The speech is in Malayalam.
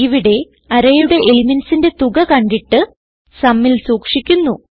ഇവിടെ arrayയുടെ elementsന്റെ തുക കണ്ടിട്ട് sumൽ സൂക്ഷിക്കുന്നു